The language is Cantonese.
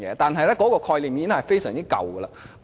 但是，這個概念已經非常陳舊。